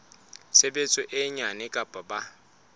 tshebetso e nyane kapa ba